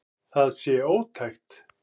Það sé ótækt.